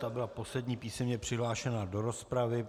Ta byla poslední písemně přihlášená do rozpravy.